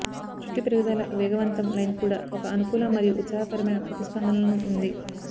జుట్టు పెరుగుదల వేగవంతం లైన్ కూడా ఒక అనుకూల మరియు ఉత్సాహకరమైన ప్రతిస్పందనలను ఉంది